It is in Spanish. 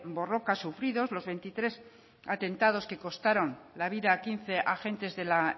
borroka sufridos los veintitrés atentados que costaron la vida a quince agentes de la